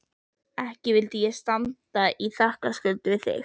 Ekki vildi ég standa í þakkarskuld við þig